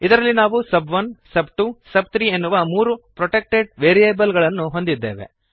ಇದರಲ್ಲಿ ನಾವು sub one sub two sub three ಎನ್ನುವ ಮೂರು ಪ್ರೊಟೆಕ್ಟೆಡ್ ವೇರಿಯಬಲ್ ಗಳನ್ನು ಹೊಂದಿದ್ದೇವೆ